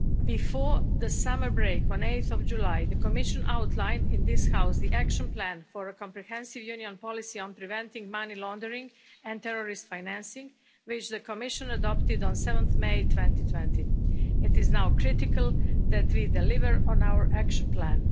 Before the summer break on 8 July, the Commission outlined in this House the action plan for a comprehensive Union policy on preventing money laundering and terrorist financing, which the Commission adopted on 7 May 2020. It is now critical that we deliver on our action plan.